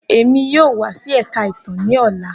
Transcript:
Emi yoo wa si Ẹka Itan ni ọla.